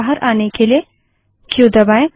इससे बाहर आने के लिए क्यू दबायें